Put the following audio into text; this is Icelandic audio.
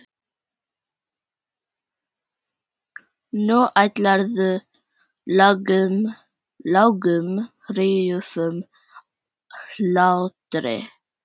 Nú hlærðu, lágum hrjúfum hlátri.